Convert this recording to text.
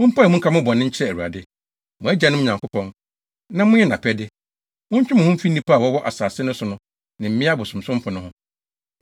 Mompae mu nka mo bɔne nkyerɛ Awurade, mo agyanom Nyankopɔn, na monyɛ nʼapɛde. Montwe mo ho mfi nnipa a wɔwɔ asase no so ne mmea abosonsomfo no ho.”